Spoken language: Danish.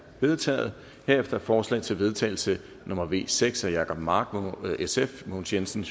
vedtaget herefter er forslag til vedtagelse nummer v seks af jacob mark mogens jensen